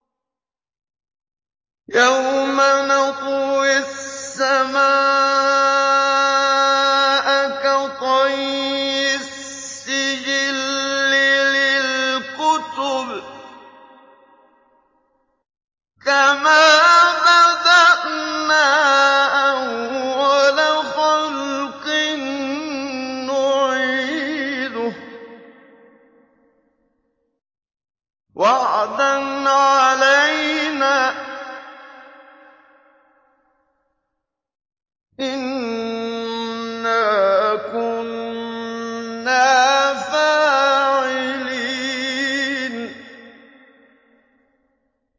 يَوْمَ نَطْوِي السَّمَاءَ كَطَيِّ السِّجِلِّ لِلْكُتُبِ ۚ كَمَا بَدَأْنَا أَوَّلَ خَلْقٍ نُّعِيدُهُ ۚ وَعْدًا عَلَيْنَا ۚ إِنَّا كُنَّا فَاعِلِينَ